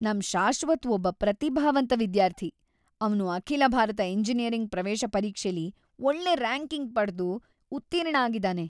ನಮ್ ಶಾಶ್ವತ್ ಒಬ್ಬ ಪ್ರತಿಭಾವಂತ ವಿದ್ಯಾರ್ಥಿ! ಅವ್ನು ಅಖಿಲ ಭಾರತ ಎಂಜಿನಿಯರಿಂಗ್ ಪ್ರವೇಶ ಪರೀಕ್ಷೆಲಿ ಒಳ್ಳೆ ರ್ಯಾಂಕಿಂಗ್‌ ಪಡ್ದು ಉತ್ತೀರ್ಣ ಆಗಿದಾನೆ.